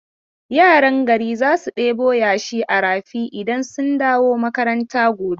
Yaran gari za su ɗebo yashi a rafi idan sun dawo makaranta gobe.